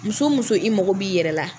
Muso muso i mago b'i yɛrɛ la